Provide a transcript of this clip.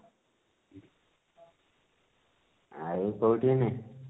ଆଉ କଉଠି ଏବେ